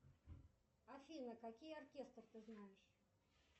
афина какие оркестры ты знаешь